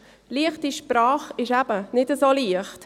«Leichte Sprache» ist eben nicht so leicht.